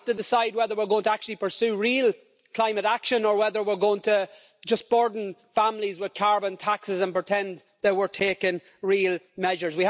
We have to decide whether we're going to actually pursue real climate action or whether we're going to just burden families with carbon taxes and pretend that we're taking real measures.